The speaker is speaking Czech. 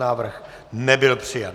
Návrh nebyl přijat.